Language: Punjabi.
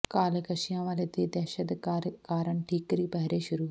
ਕਾਲੇ ਕੱਿਛਆਂ ਵਾਲਿਆਂ ਦੀ ਦਹਿਸ਼ਤ ਕਾਰਨ ਠੀਕਰੀ ਪਹਿਰੇ ਸ਼ੁਰੂ